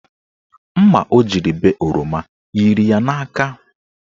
Mma ọ jiri bee oroma yiri ya n'aka.